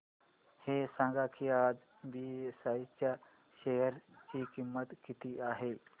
हे सांगा की आज बीएसई च्या शेअर ची किंमत किती आहे